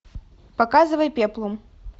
показывай пеплум